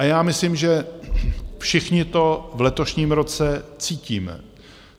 A já myslím, že všichni to v letošním roce cítíme.